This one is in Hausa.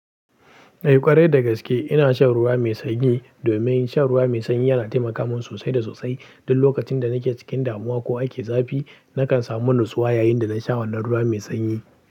Eh ƙwarai dagaske ina shan ruwa mai sanyi domin shan ruwa mai sanyi yana taimaka min sosai da sosai. Duk lokacin da nake cikin damuwa ko ake zafi nakan samu nutsuwa yayin da na sha wannan ruwa mai sanyi.